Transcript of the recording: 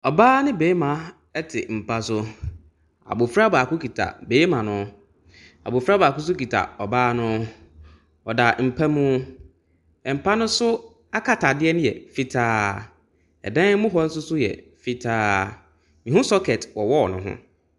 Ɔbaa ne barima te mpa so, abɔfra baako kita barima no, abɔfra baako nso kita ɔbaa no. Wɔda mpa mu, mpa ne so akatadeɛ no yɛ fitaa, dan mu hɔ nso yɛ fitaa. Mehu socket wɔ wall ne ho.